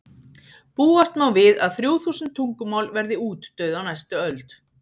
búast má við að þrjú þúsund tungumál verði útdauð á næstu öld